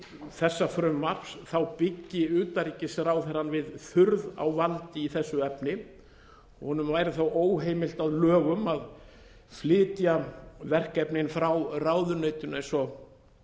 þessa frumvarps byggi utanríkisráðherrann við þurrð á valdi í þessu efni honum væri þá óheimilt að lögum að flytja verkefnin frá ráðuneytinu eins og